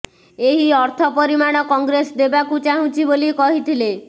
ଏହି ଅର୍ଥ ପରିମାଣ କଂଗ୍ରେସ ଦେବାକୁ ଚାହୁଁଛି ବୋଲି କହିଥିଲେ